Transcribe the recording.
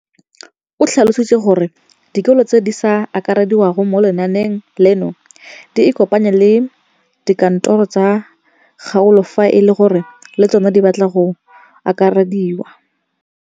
O tlhalositse gore dikolo tse di sa akarediwang mo lenaaneng leno di ikopanye le dikantoro tsa kgaolo fa e le gore le tsona di batla go akarediwa.